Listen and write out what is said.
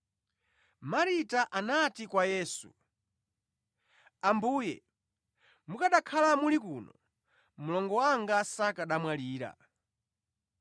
Marita anati kwa Yesu, “Ambuye, mukanakhala muli kuno, mlongo wanga sakanamwalira.